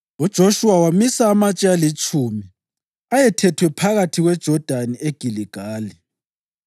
UJoshuwa wamisa amatshe alitshumi ayethethwe phakathi kweJodani eGiligali.